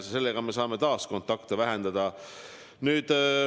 Sellega me saame taas kontakte vähendada.